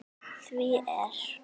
Því er